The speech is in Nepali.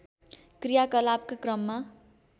क्रियाकलापका क्रममा